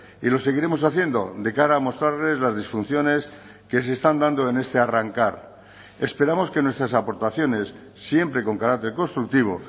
y lo seguiremos haciendo de cara a mostrarles las disfunciones que se están dando en este arrancar esperamos que nuestras aportaciones siempre con carácter constructivo